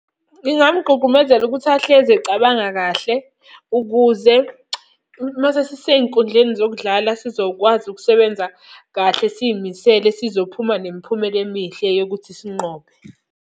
Ngingamugqugqumezela ukuthi ahlezi ecabanga kahle, ukuze uma sesise y'nkundleni zokudlala sizokwazi ukusebenza kahle siy'misele sizophuma nemiphumela emihle yokuthi sinqobe.